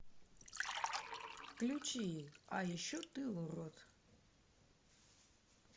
включи а еще ты урод